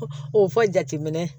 O fɔ jateminɛ